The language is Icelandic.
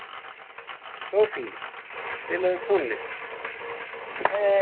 Sophie, spilaðu tónlist.